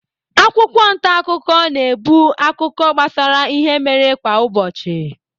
Akwụkwọ ntaakụkọ na-ebu akụkọ gbasara ihe mere kwa ụbọchị.